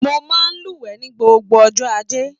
Mo máa n luwẹ̀ ní gbogbo ọjọ́ ajé.